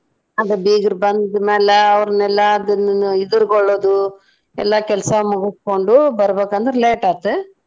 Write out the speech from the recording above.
ಅದ ಬೀಗ್ರ್ ಬಂದ್ ಮ್ಯಾಲ ಅವ್ರನೆಲ್ಲಾ ಅದನ್ನ ಇದ್ರ್ಗೊಳ್ಳೋದು ಎಲ್ಲಾ ಕೆಲ್ಸ ಮುಗಸ್ಕೊಂಡು ಬರ್ಬೇಕಂದ್ರೆ late ಆತ್.